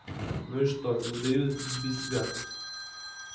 ну и что не даю сбить себя